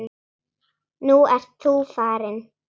Nú ert þú farinn.